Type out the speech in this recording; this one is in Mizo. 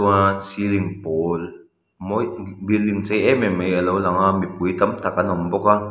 uan ceiling pawl mawi building chei em em mai alo lang a mipui tam tak an awm bawk a --